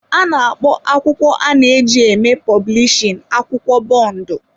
A na-akpọ akwụkwọ a na-eji eme pọblishin akwụkwọ bondu.